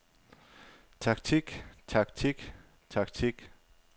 taktik taktik taktik